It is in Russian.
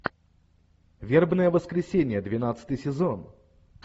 вербное воскресенье двенадцатый сезон